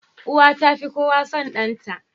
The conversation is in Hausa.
Uwa tafi kowa son danta